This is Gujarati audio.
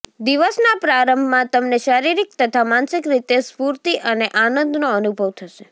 દિવસના પ્રારંભમાં તમને શારીરિક તથા માનસિક રીતે સ્ફૂર્તિ અને આનંદનો અનુભવ થશે